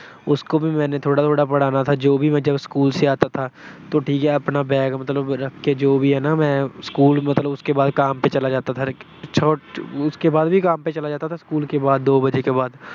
ਉਸਕੋ ਵੀ ਮੈਂਨੇ ਥੋੜਾ-ਥੋੜਾ ਪੜ੍ਹਾਨਾ ਥਾ, ਜੋ ਵੀ ਮਤਲਬ ਜਬ ਸਕੂਲ ਸੇ ਆਤਾ ਥਾ, ਤੋਂ ਠੀਕ ਐ ਅਪਣਾ bag ਮਤਲਬ ਰੱਖਕੇ ਜੋ ਵੀ ਹੈ ਨਾ ਮੈਂ ਸਕੂਲ ਮਤਲਬ ਉਸਕੇ ਬਾਅਦ ਕਾਮ ਪੇ ਚਲਾ ਜਾਤਾ ਥਾ। ਉਸਕੇ ਬਾਅਦ ਵੀ ਕਾਮ ਪੇ ਚਲਾ ਜਾਤਾ ਥਾ ਸਕੂਲ ਕੇ ਬਾਅਦ ਮਤਲਬ ਦੋ ਵਜੇ ਕੇ ਬਾਅਦ।